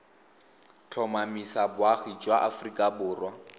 tlhomamisa boagi ba aforika borwa